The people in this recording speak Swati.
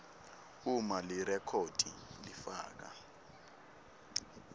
uma lirekhodi lifaka